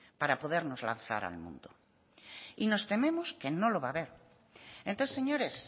para podernos lanzar al mundo y nos tememos que no lo va a ver entonces señores